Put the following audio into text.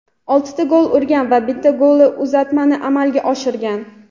oltita gol urgan va bitta golli uzatmani amalga oshirgan.